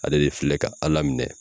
Ale de filɛ ka Ala minɛ